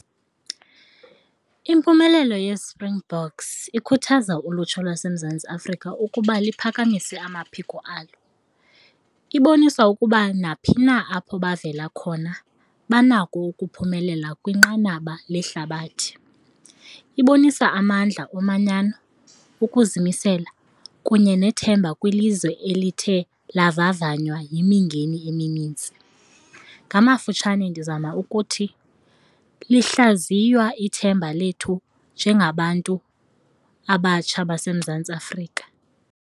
Impumelelo yeSpringboks ikhuthaza ulutsha lwaseMzantsi Afrika ukuba liphakamise amaphiko alo. Ibonisa ukuba naphi na apho bavela khona banako ukuphumelela kwinqanaba lehlabathi. Ibonisa amandla omanyana, ukuzimisela kunye nethemba kwilizwe elithe lavavanywa yimingeni eminintsi. Ngamafutshane ndizama ukuthi, lihlaziywa ithemba lethu njengabantu abatsha baseMzantsi Afrika.